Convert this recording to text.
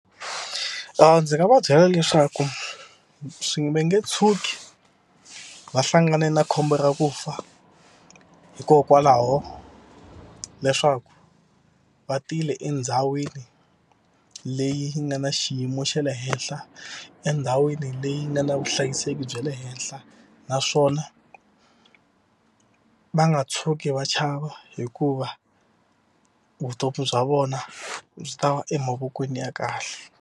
Ndzi nga va byela leswaku swi va nge tshuki va hlangane na khombo ra ku fa hikokwalaho leswaku va tile endhawini leyi yi nga na xiyimo xa le henhla endhawini leyi nga na vuhlayiseki bya le henhla naswona va nga tshuki va chava hikuva vutomi bya vona byi ta va emavokweni ya kahle.